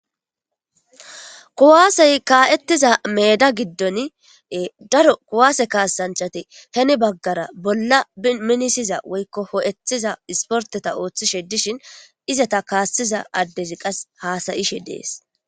Kuwaasey kaa7ettiza meeda giddon daro kuwaase kaasanchati heni baggara bolla biminisiza woykko hoo7etiza isporteta ooththishe dishin izata kaassiza addezi qas haasayishe dees.